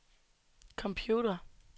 computer